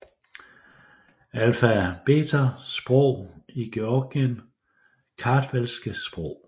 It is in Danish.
Alfabeter Sprog i Georgien Kartvelske sprog